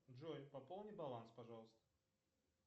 джой пополни баланс пожалуйста